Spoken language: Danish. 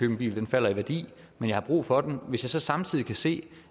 en bil den falder i værdi men jeg har brug for den hvis jeg så samtidig kan se